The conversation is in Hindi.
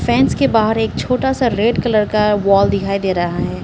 फेंस के बाहर एक छोटा सा रेड कलर का वॉल दिखाई दे रहा है।